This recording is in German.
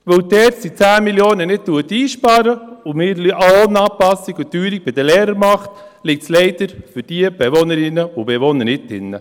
Weil die ERZ die 10 Mio. Franken nicht einspart und eine Lohnanpassung an die Teuerung bei den Lehrern macht, liegt es leider für diese Bewohnerinnen und Bewohner nicht drin.